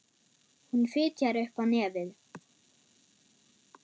Hún fitjar upp á nefið.